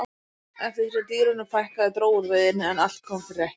eftir því sem dýrunum fækkaði dró úr veiðinni en allt kom fyrir ekki